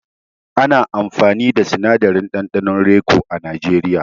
Ana amfani da sinadarin ɗanɗanon raico a najeriya.